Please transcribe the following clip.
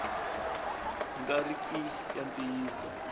nga ri ki ya ntiyiso